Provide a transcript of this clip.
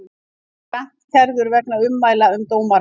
Grant kærður vegna ummæla um dómara